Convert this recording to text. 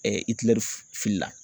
filila.